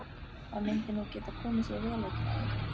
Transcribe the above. Það myndi nú geta komið sér vel einn daginn.